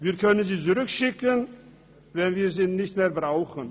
Wir können sie zurückschicken, wenn wir sie nicht mehr brauchen.